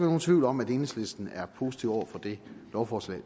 nogen tvivl om at enhedslisten er positiv over for det lovforslag